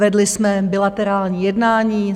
Vedli jsme bilaterální jednání.